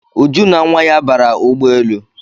Uju na nwa ya bara ụgbọelu